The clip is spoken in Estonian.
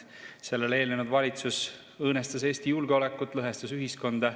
Sellele eelnenud valitsus õõnestas Eesti julgeolekut, lõhestas ühiskonda.